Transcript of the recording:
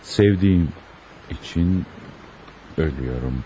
Sevdiyim üçün ölürəm.